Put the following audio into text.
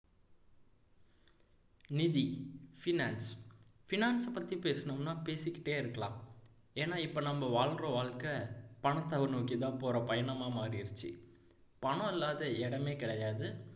நிதி finance finance அ பத்தி பேசணும்னா பேசிக்கிட்டே இருக்கலாம் ஏன்னா இப்போ நாம் வாழ்ற வாழ்க்கை பணத்தை நோக்கிதான் போற பயணமா மாறிருச்சு பணம் இல்லாத இடமே கிடையாது